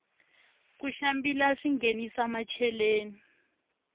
ku xambila swinghenisa macheleni